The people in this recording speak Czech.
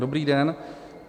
Dobrý den.